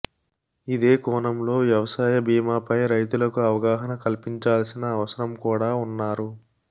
ఇదే కోణంలో వ్యవసాయ బీమాపైనా రైతులకు అవగాహన కల్పించాల్సిన అవసరం కూడా ఉంన్నారు